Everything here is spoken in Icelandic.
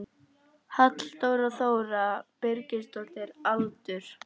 Halldóra Þóra Birgisdóttir Aldur?